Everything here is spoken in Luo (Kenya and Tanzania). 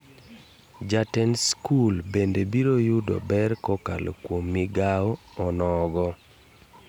Jatend skul bende biro yudo ber kokalo kuom migao onogo.